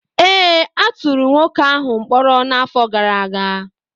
ee, a tụrụ nwoke ahụ mkpọrọ n’afọ gara aga